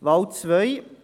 Wahl 2: